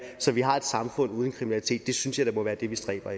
så vi har et samfund uden kriminalitet det synes jeg da må være det vi stræber